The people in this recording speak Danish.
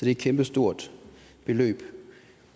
et kæmpestort beløb